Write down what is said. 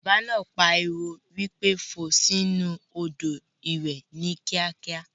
Bàbá náà pariwo wípé "fò sì inú Odò ìwẹ̀ ni kíákíá"!!